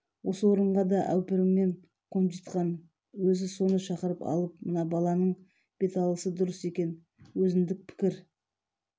осы орынға да әупіріммен қонжитқан өзі соны шақырып алып мына баланың беталысы дұрыс екен өзіндік пікір